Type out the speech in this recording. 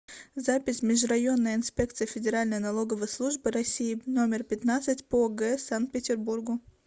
запись межрайонная инспекция федеральной налоговой службы россии номер пятнадцать по г санкт петербургу